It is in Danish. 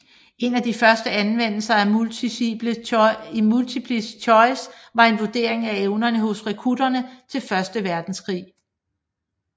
En af de første anvendelser af multiple choice var en vurdering af evnerne hos rekrutterne til første verdenskrig